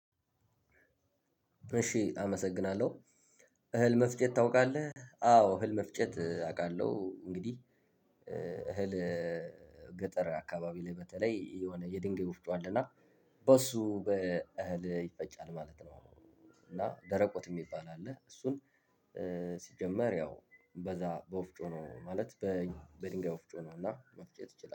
እሺ አመሰግናለሁ፤ እህል መፍጨት ታውቃለህ? አዎ፣ እህል መፍጨት አውቃለሁ፤ እንግዲህ እህል ገጠር አካባቢ ላይ በተለይ የሆነ የድንጋይ ወፍጮ አለና በሱ በእህል ይፈጫል ማለት ነው፤ እና ደረቆት የሚባል አለ፤ እሱን ሲጀመር ያው በዛ በወፍጮ ነው፤ ማለት በድንጋይ ወፍጮ ነው እና መፍጨት ትችላለሁ፤